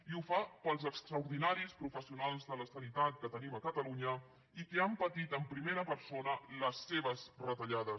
i ho fa pels extraordinaris professionals de la sanitat que tenim a catalunya i que han patit en primera persona les seves retallades